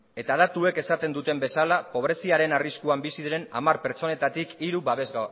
eta datuek esaten duten bezala pobreziaren arriskuan bizi diren hamar pertsonetatik hiru